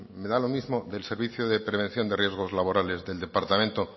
me da lo mismo del servicio de prevención de riesgos laborales del departamento